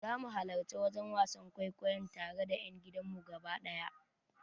Zamu halarci wajen wasan kwaikwayon tare da yan gidanmu gaba daya.